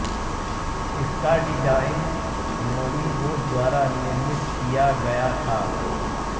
इसका डिजाइन नोमी बोस द्वरा निर्मित किया गया था